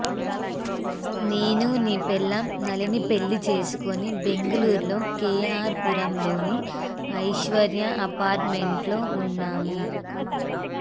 నేను నీ పెళ్లాం నళినీ పెళ్లి చేసుకొని బెంగుళూరులో కేఆర్ పురంలోని ఐశ్వర్య అపార్ట్మెంట్లో ఉన్నాము